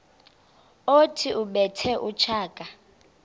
othi ubethe utshaka